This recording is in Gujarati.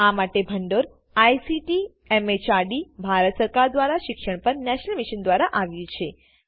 આ માટે ભંડોળ આઇસીટી એમએચઆરડી ભારત સરકાર દ્વારા શિક્ષણ પર નેશનલ મિશન દ્વારા આવ્યું છે